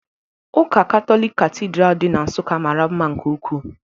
Ụka Katọlik Katidral dị na Nsukka mara mma nke ukwuu